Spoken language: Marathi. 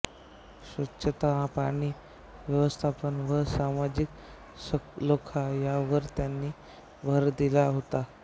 स्वच्छता पाणी व्यवस्थापन व सामाजिक सलोखा यावर त्यांनी भर दिला होता